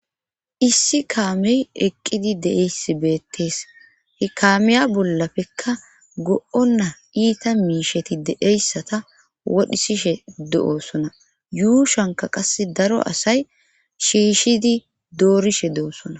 Issi kaamey eqqidi deeyssi beettees he kaameya bollafekka go'ona iita miisheti deeyssata wodhisishe do'oosona yuushanka qasse daro asay shiishidi doorishe doo'ssona